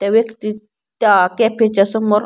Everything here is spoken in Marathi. त्या व्यक्तीत त्या कॅफेच्या समोर--